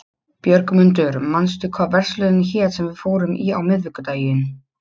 Björgmundur, manstu hvað verslunin hét sem við fórum í á miðvikudaginn?